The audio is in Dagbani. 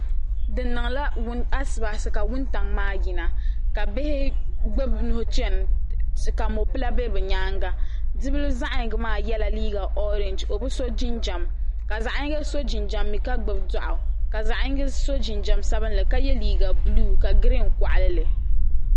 Di niŋla asibaasi ka wuntaŋa maa yina ka bihi gbibi bɛ nuhi chena ka mopila be bɛ nyaanga bibili zaɣa yinga maa yela liiga orinji o bi so jinjiɛm k zaɣa yinga so jinjiɛm ka gbibi doɣu ka zaɣa yinga so jinjiɛm sabinli ka ye liiga buluu ka girin koɣali li.